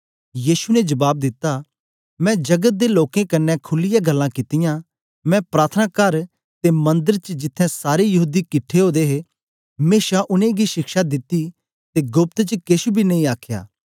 यीशु ने जबाब दित्ता मैं जगत दे लोकें कन्ने खुलीयै गल्लां कितीयाँ मैं प्रार्थनाकार ते मंदर च जिथें सारे यहूदी किट्ठे ओदे हे मेशा उनेंगी शिक्षा दिती ते गोप्त च केछ बी नेई आखया